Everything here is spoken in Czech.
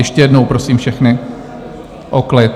Ještě jednou prosím všechny o klid.